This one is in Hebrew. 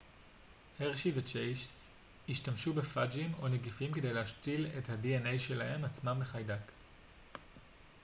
הרשי וצ'ייס השתמשו בפאג'ים או נגיפים כדי להשתיל את ה-dna שלהם עצמם בחיידק